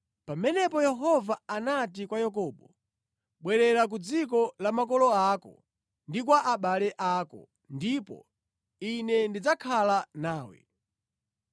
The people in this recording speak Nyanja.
Pamenepo Yehova anati kwa Yakobo, “Bwerera ku dziko la makolo ako ndi kwa abale ako, ndipo Ine ndidzakhala nawe.”